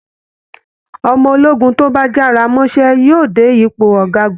Ọmọ ológun tó bá jára mọ́ṣẹ́ yóò dé ipò ọ̀gágun